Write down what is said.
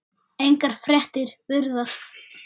Engar fréttir virðast